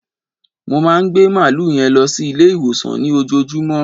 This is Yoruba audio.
Mo máa gbẹ màálú yẹn lọ sí Ilé ìwòsàn ní òjoojómọ́